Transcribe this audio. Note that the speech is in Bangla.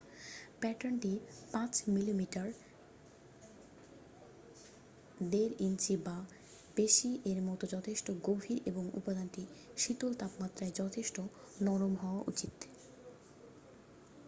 প্যাটার্নটি ৫ মি.মি. ১/৫ ইঞ্চি বা বেশি এর মত যথেষ্ট গভীর এবং উপাদানটি শীতল তাপমাত্রায় যথেষ্ট নরম হওয়া উচিৎ।